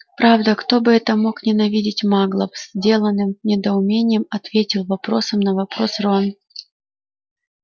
правда кто бы это мог ненавидеть маглов с деланным недоумением ответил вопросом на вопрос рон